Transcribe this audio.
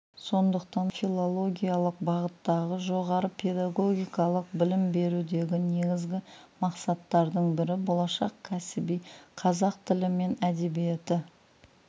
сондықтан филологиялық бағыттағы жоғары педагогикалық білім берудегі негізгі мақсаттардың бірі болашақ кәсіби қазақ тілі мен әдебиеті